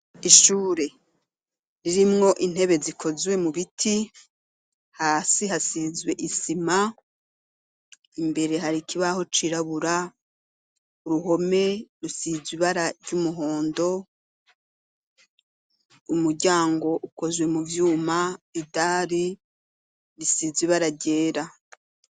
Ishure, ririmwo intebe zikozwe mu biti, hasi hasizwe isima, imbere hari ikibaho cirabura, uruhome rusize ibara ry'umuhondo, umuryango ukozwe mu vyuma, idari risize ibara ryera.